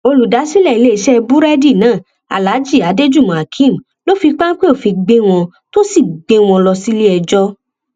olùdásílẹ iléeṣẹ búrẹdì náà aláàjì adéjùmọ akeem ló fi páńpẹ òfin gbé wọn tó sì gbé wọn lọ síléẹjọ